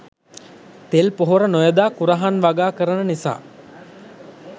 තෙල් පොහොර නොයොදා කුරහන් වගා කරන නිසා